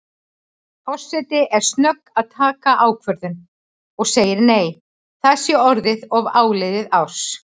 Forseti er snögg að taka ákvörðun og segir nei, það sé orðið of áliðið árs.